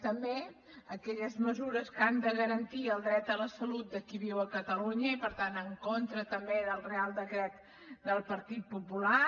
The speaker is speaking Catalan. també aquelles mesures que han de garantir el dret a la salut de qui viu a catalunya i per tant en contra també del reial decret del partit popular